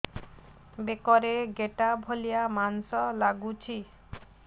ବେକରେ ଗେଟା ଭଳିଆ ମାଂସ ଲାଗୁଚି